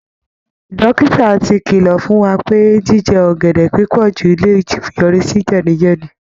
Dókítà ti kìlọ̀ fún wa pé jíjẹ ọ̀gẹ̀dẹ̀ púpọ̀ jù lè yọrí sí jẹ̀díjẹ̀dí